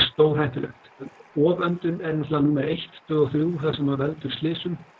stórhættulegt oföndun er náttúrulega númer eitt tvö og þrjú það sem veldur slysum